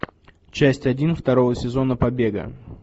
часть один второго сезона побега